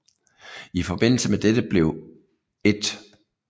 I forbindelse med dette blev 1